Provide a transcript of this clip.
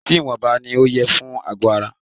Ọtí ìwọnba ní o yẹ fún àgọ ara.